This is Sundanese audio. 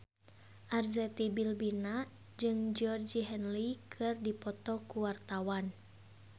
Arzetti Bilbina jeung Georgie Henley keur dipoto ku wartawan